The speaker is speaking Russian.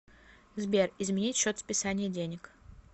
сбер изменить счет списания денег